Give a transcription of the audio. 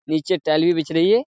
नीचे टाइल भी बिछ रही है।